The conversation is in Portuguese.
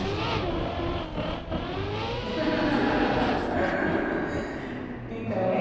Por favor ai então é.